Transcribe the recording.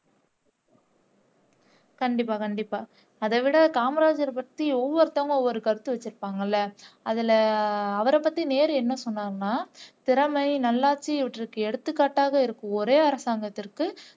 கண்டிப்பா கண்டிப்பா அதைவிட காமராஜர் பத்தி ஒவ்வொருத்தங்க ஒரு கருத்து வச்சிருப்பாங்க இல்ல அதுல அவரைப்பத்தி நேரு என்ன சொன்னார்னா திறமை நல்லாட்சி இவற்றுக்கு எடுத்துக்காட்டாக இருக்கும் ஒரே அரசாங்கத்திற்கு